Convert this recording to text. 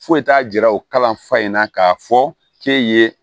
Foyi t'a jira o kalanfa in na k'a fɔ k'e ye